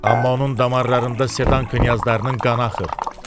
Amma onun damarlarında sedan knyazlarının qanı axır.